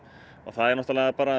það er náttúrulega bara